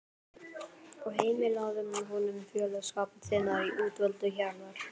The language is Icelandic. og heimilaðu honum félagsskap þinnar útvöldu hjarðar.